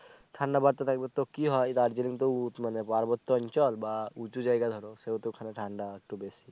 ঠাণ্ডা বারতে থাকবে তো কি হয় দার্জিলিং উচ মানে পার্বত্য অঞ্চল বা উচু জায়গা ধরো সেহেতু ওখানে ঠাণ্ডা একটু বেশি